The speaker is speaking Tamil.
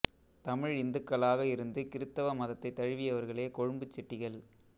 தமிழ் இந்துக்களாக இருந்து கிறிஸ்தவ மதத்தைத் தழுவியவர்களே கொழும்புச் செட்டிகள்